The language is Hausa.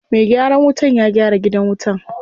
Me gyaran wutan ya gyara gidan wutan.